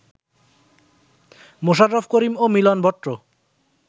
মোশাররফ করিম ও মিলন ভট্ট